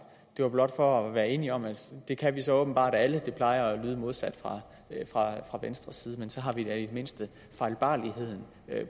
det var blot for at være enige om at det kan vi så åbenbart alle det plejer at lyde modsat fra venstres side man så har vi da i det mindste fejlbarligheden